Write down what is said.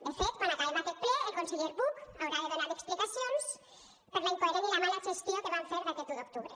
de fet quan acabem aquest ple el conseller buch haurà de donar explicacions per la incoherent i mala gestió que van fer d’aquest un d’octubre